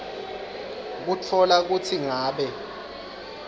kutfola kutsi ngabe